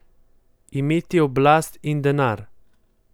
Imeti oblast in denar.